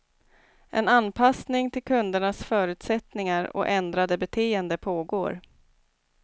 En anpassning till kundernas förutsättningar och ändrade beteende pågår.